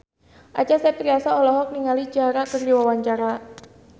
Acha Septriasa olohok ningali Ciara keur diwawancara